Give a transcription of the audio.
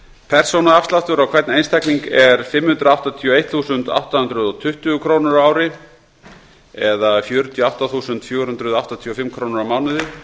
persónuafsláttur á hvern einstakling er fimm hundruð áttatíu og eitt þúsund átta hundruð og tuttugu krónur á ári það er fjörutíu og átta þúsund fjögur hundruð áttatíu og fimm krónur á mánuði